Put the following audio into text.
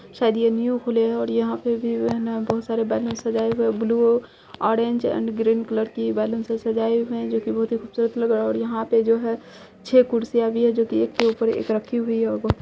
शायद ये न्यू खुले है और यहाँ पे भी है ना बहुत सारे बैलून्स सजाए हुए हैं blue orange and green colour के बैलून्स से सजाए हुए है जो की बहुत ही खूबसूरत लग रहा है यहाँ पे जो है छे कुर्सियाँ भी हैं जो की एक के ऊपर एक रखी हुई है और बहुत --